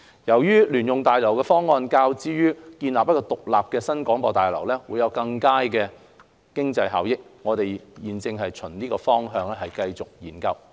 由於聯用大樓的方案較建造獨立的新廣播大樓會有更佳的經濟效益，我們現正循此方向進行研究。